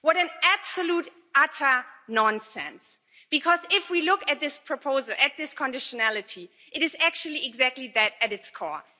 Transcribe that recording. What absolute utter nonsense. Because if we look at this proposal, at this conditionality, it is actually exactly that at its core.